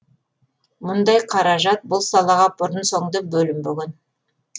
мұндай қаражат бұл салаға бұрын соңды бөлінбеген